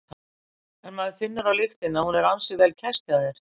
En maður finnur á lyktinni að hún er ansi vel kæst hjá þér?